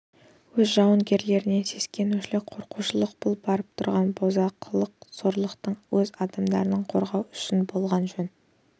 өз жауынгерлерінен сескенушілік қорқушылық бұл барып тұрған бақытсыздық сорлылық өз адамдарыңнан қорықпау үшін әділ болған жөн